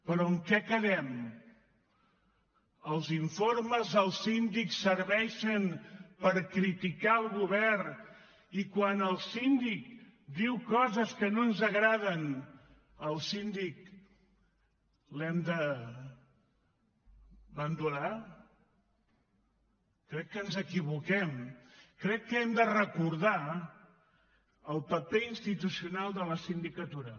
però en què quedem els informes del síndic serveixen per criticar el govern i quan el síndic diu coses que no ens agraden al síndic l’hem de bandejar crec que ens equivoquem crec que hem de recordar el paper institucional de la sindicatura